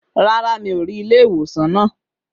Rárá, mi ò rí ilé ìwòsàn náà.